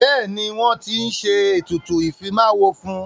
Bẹ́ẹ̀ni, wọ́n ti ń ṣe ètùtù ìfimáwo fún.